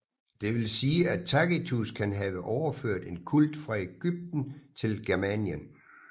Det vil sige at Tacitus kan have overført en kult fra Ægypten til Germanien